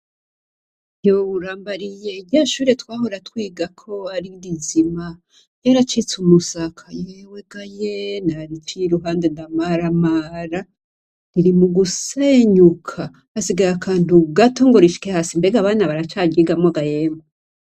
Yoo Urambariye ! Rya shure twahora twigako Ari rizima ryaracitse umusaka. yewe ga ye ! naraciye iruhande ndamaramara ririmugusenyuka. hasigaye akantu gato ngo rishike hasi. Mbega abana baracaryigamwo ga yemwe?